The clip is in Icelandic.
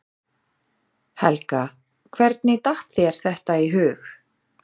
Helga: Hvernig datt þér þetta í hug?